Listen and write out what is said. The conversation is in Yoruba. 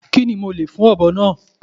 Kí ni a lè fún ọ̀bọ náà.